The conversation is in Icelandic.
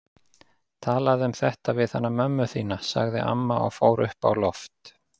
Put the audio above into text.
Talaðu um þetta við hana mömmu þína, sagði amma og fór upp á loft.